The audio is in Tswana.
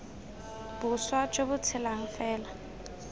boswa jo bo tshelang fela